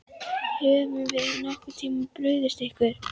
Höfum við nokkurn tímann brugðist ykkur?